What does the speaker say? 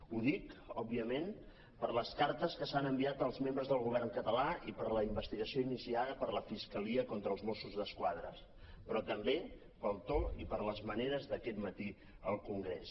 ho dic òbviament per les cartes que s’han enviat als membres del govern català i per la investigació iniciada per la fiscalia contra els mossos d’esquadra però tam·bé pel to i per les maneres d’aquest matí al congrés